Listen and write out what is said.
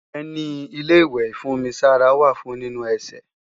Ẹní Ilé-ìwẹ̀ ìfún-omi-sára wà fún nínu ẹsẹ̀